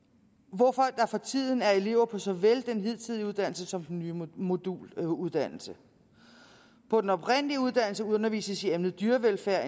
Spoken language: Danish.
hvorfor der for tiden er elever på såvel den hidtidige uddannelse som den nye moduluddannelse på den oprindelige uddannelse undervises i emnet dyrevelfærd